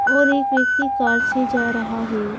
और एक व्यक्ति कार से जा रहा है।